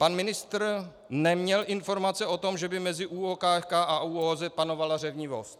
Pan ministr neměl informace o tom, že by mezi ÚOKFK a ÚOOZ panovala řevnivost.